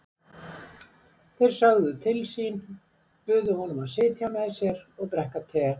Þeir sögðu til sín, buðu honum að sitja með sér og drekka te.